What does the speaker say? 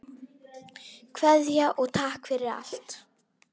Kveðja og takk fyrir allt.